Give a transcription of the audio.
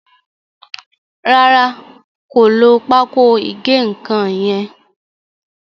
Ràrá kò ló Pákò ìgé-nǹkan yén.